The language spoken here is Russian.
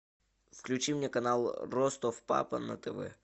включи мне канал ростов папа на тв